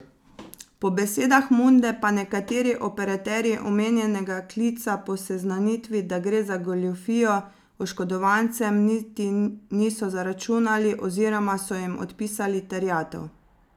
Po besedah Munde pa nekateri operaterji omenjenega klica po seznanitvi, da gre za goljufijo, oškodovancem niti niso zaračunali oziroma so jim odpisali terjatev.